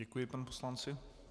Děkuji panu poslanci.